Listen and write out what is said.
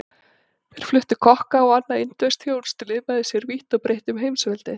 Þeir fluttu kokka og annað indverskt þjónustulið með sér vítt og breitt um heimsveldið.